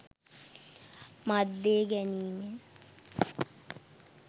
මත් දේ ගැනීමෙන්